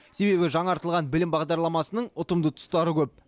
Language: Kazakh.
себебі жаңартылған білім бағдарламасының ұтымды тұстары көп